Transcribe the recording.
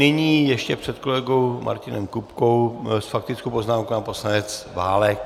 Nyní ještě před kolegou Martinem Kupkou s faktickou poznámkou pan poslanec Válek.